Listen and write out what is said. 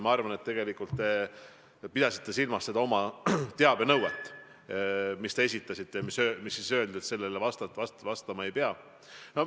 Ma arvan, et tegelikult pidasite te silmas oma teabenõuet, mille te esitasite ja mille kohta öeldi, et sellele vastama ei pea.